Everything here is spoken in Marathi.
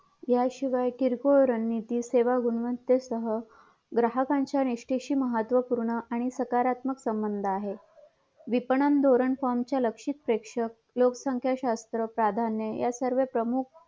याशिवाय किरकोळ रणनीती सेवा गुणवतेसह ग्राहकाच्या निठेशीमहत्वपूण आणि सकारत्मक संबंध आहे विपणन धोरण फेम च्या लक्षित प्रेषक लोकसंख्या शास्त्र प्रधान्य यासर्व प्रमुख